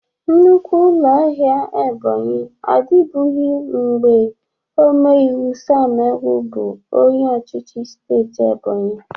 Nnukwu ụlọ ahịa Ebonyị adịbụghị mgbe ome iwe Sam Egwu bụ onye ọchịchị steeti Ebonyi.